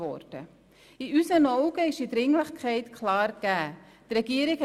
Aus unserer Sicht ist also Dringlichkeit klar gegeben.